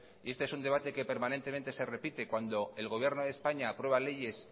y este es un debate permanente se repite cuando el gobierno de españa aprueba leyes